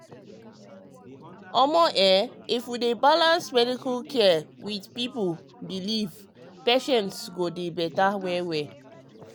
um if we fit balance medical care with with people belief patients go dey better.